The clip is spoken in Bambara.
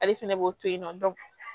Ale fɛnɛ b'o to yen nɔ